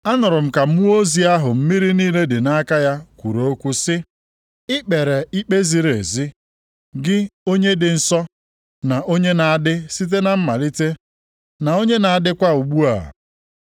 Anụrụ m ka mmụọ ozi ahụ mmiri niile dị nʼaka ya kwuru okwu sị, “I kpere ikpe ziri ezi, Gị, Onye dị Nsọ, na onye na-adị site na mmalite, na onye na-adịkwa ugbu a.